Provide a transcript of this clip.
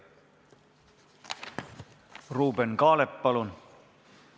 Ruuben Kaalep, palun!